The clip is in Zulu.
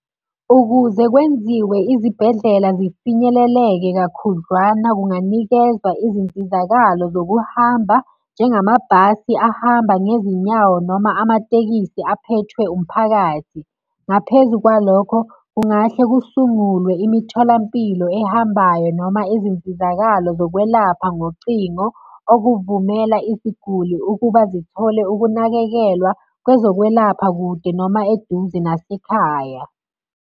Ukuze kwenziwe izibhedlela zifinyeleleke kakhudlwana kunganikezwa izinsizakalo zokuhamba, njengamabhasi ahamba ngezinyawo noma amatekisi aphethwe umphakathi. Ngaphezu kwalokho, kungahle kusungulwe imitholampilo ehambayo noma izinsizakalo zokwelapha ngocingo okuvumela isiguli ukuba zithole ukunakekelwa kwezokwelapha kude noma eduze nasekhaya.